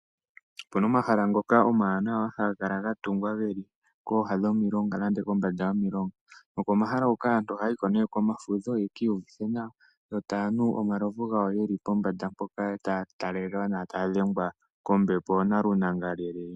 Opuna omahala ngoka omawanawa, haga kala gatungwa geli kooha dhomilonga nenge kombanda yomilonga. Nokomahala huka aantu ohaya hiko ne komafudho ya kiihuvithe nawa, yo tayanu omalovu gawo yeli pombanda mpoka taya tale nawa taya dhengwa kombepo nalunangalele.